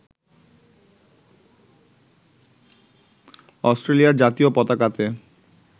অস্ট্রিয়ার জাতীয় পতাকাতে